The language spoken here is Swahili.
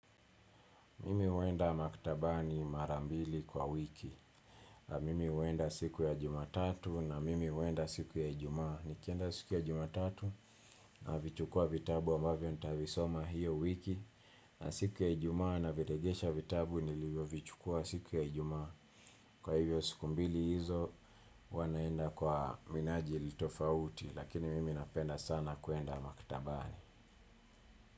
Mimi huenda maktabani mara mbili kwa wiki. Mimi uenda siku ya jumatatu na mimi uenda siku ya Ijumaa. Nikienda siku ya jumatatu navichukua vitabu ambavyo ntavisoma hiyo wiki. Na siku ya ijuy naviregesha vitabu nilivyovichukua siku ya jumatua. Kwa hivyo siku mbili hizo wanaenda kwa minaji litofauti. Lakini mimi napenda sana kuenda maktabani.